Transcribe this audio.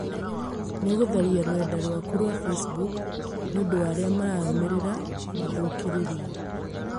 Nĩũgũtharia rũrenda rwaku rwa Facebook nĩũndũ wa arĩa mararũmĩrĩra mathũkĩrĩrie